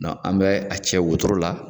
dɔn an bɛ a cɛ wotoro la